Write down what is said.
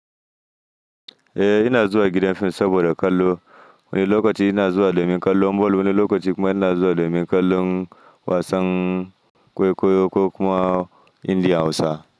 Eh ina zuwa gidan fim saboda kallo. Wani lokaci ina zuwa domin kallon ball, wani lokaci kuma ina zuwa domin kallon wasan kwaikwayo ko kuma India Hausa.